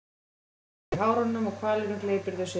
Þau sitja eftir í hárunum og hvalurinn gleypir þau síðan.